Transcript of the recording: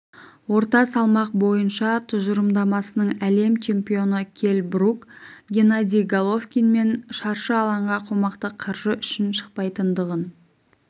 орта салмақ бойынша тұжырымдамасының әлем чемпионы келл брук геннадий головкинмен шаршы алаңға қомақты қаржы үшін шықпайтындығын